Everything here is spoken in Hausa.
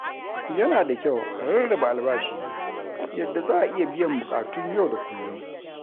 Yana da kyau a rarraba albashi yadda za a iya biyan buƙatun yau da kullum.